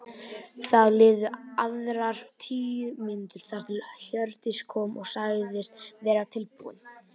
Það liðu aðrar tíu mínútur þar til Hjördís kom og sagðist vera tilbúin.